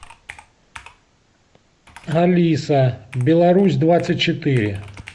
алиса беларусь двадцать четыре